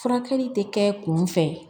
Furakɛli tɛ kɛ kun fɛ